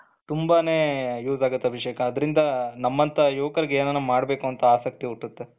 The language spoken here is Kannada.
ತುಂಬಾನೇ use ಆಗುತ್ತೆ ಅಭಿಷೇಕೆ ಅದರಿಂದ ನಮ್ಮಂತ ಯುವಕರಿಗೆ ಏನಾನ ಮಾಡಬೇಕು ಅಂತ ಆಸಕ್ತಿ ಹುಟ್ಟುತ್ತೆ.